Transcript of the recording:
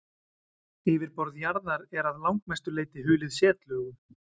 yfirborð jarðar er að langmestu leyti hulið setlögum